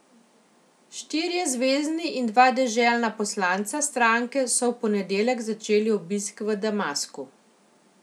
Štirje zvezni in dva deželna poslanca stranke so v ponedeljek začeli obisk v Damasku.